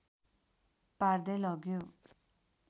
पार्दै लग्यो